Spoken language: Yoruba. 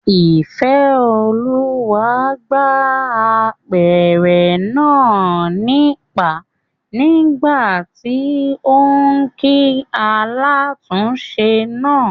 Ìfẹ́olúwa gbá apẹ̀rẹ̀ náà nípàá nígbàtí óún kí alátúnse náà